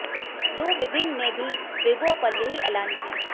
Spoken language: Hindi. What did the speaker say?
लू विबिंग ने भी वीबो पर यही ऐलान किया